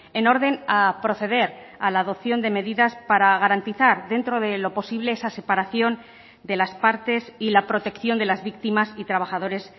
en orden a proceder a la adopción de medidas para garantizar dentro de lo posible esa separación de las partes y la protección de las víctimas y trabajadores